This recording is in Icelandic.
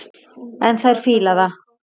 En þær fíla það.